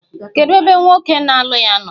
Kedu ebe nwoke na-alụ ya nọ?